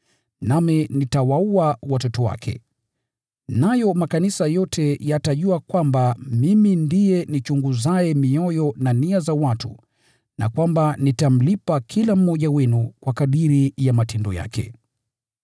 Nami nitawaua watoto wake. Nayo makanisa yote yatajua kwamba Mimi ndiye nichunguzaye mioyo na nia, na kwamba nitamlipa kila mmoja wenu kwa kadiri ya matendo yake.